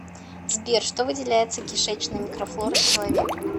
сбер что выделяется кишечной микрофлорой человека